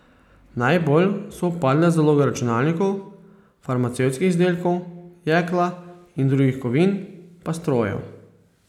Najbolj so upadle zaloge računalnikov, farmacevtskih izdelkov, jekla in drugih kovin, pa strojev.